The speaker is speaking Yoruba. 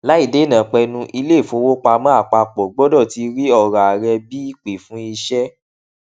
láìdéènàpẹnu ilé ìfowópamó àpapọ gbọdọ ti rí ọrọ ààrẹ bí ìpe fún ìṣe